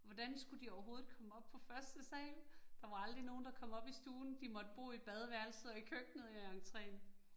Hvordan skulle de overhovedet komme op på første sal? Der var aldrig nogen, der kom op i stuen, de måtte bo i badeværelset og i køkkenet og i entreen